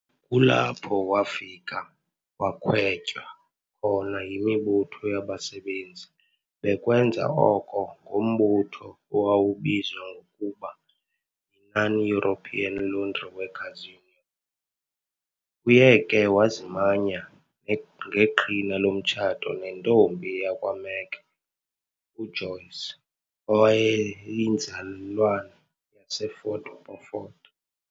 Kulapho wafika wakhwetywa khona yimibutho yabasebenzi bekwenza oko ngombutho owawubizwa ngokuba yi"Non European Laundry Workers Union". Uye ke wazimanya ngeqhina lomtshato nentombi yakwa Meke, uJoyce, owayeyinzalelwane yaseFort Beaufort.